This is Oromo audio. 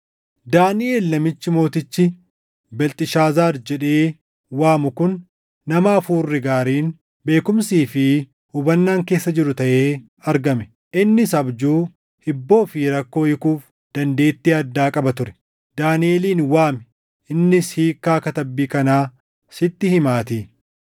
Daaniʼel namichi mootichi Beelxishaazaari jedhee waamu kun nama hafuurri gaariin, beekumsii fi hubannaan keessa jiru taʼee argame; innis abjuu, hibboo fi rakkoo hiikuuf dandeettii addaa qaba ture. Daaniʼelin waami; innis hiikkaa katabbii kanaa sitti himaatii.”